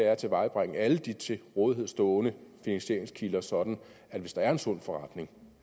at tilvejebringe alle de til rådighed stående finansieringskilder sådan at hvis der er en sund forretning